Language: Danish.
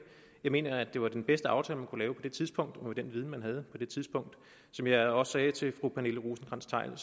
jeg mener at det var den bedste aftale man kunne lave på det tidspunkt og med den viden man havde på det tidspunkt som jeg også sagde til fru pernille rosenkrantz theil var